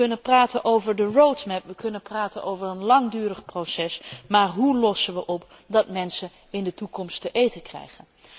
We kunnen praten over de road map we kunnen praten over een langdurig proces, maar hoe lossen we op dat mensen dadelijk te eten krijgen?